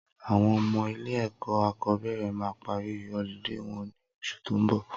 Awọn ọmọ ilé ẹkọ akọbẹrẹ mà pàrí ọ̀lídé wọn ni óṣú tó n bọ